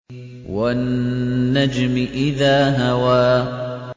وَالنَّجْمِ إِذَا هَوَىٰ